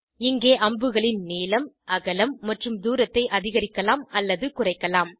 இங்கே அம்புகளின் நீளம் அகலம் மற்றும் தூரத்தை அதிகரிக்கலாம் அல்லது குறைக்கலாம்